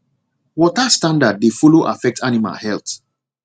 water standard dey follow affect animal health